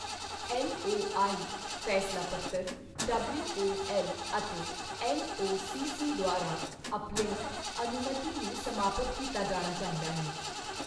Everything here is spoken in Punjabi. ਐੱਲਓਆਈ, ਫ਼ੈਸਲਾ ਪੱਤਰ, ਡਬਲਿਊਓਐੱਲ ਅਤੇ ਐੱਨਓਸੀਸੀ ਦੁਆਰਾ ਅੱਪਲਿੰਕ ਅਨੁਮਤੀ ਨੂੰ ਸਮਾਪਤ ਕੀਤਾ ਜਾਣਾ ਚਾਹੀਦਾ ਹੈ।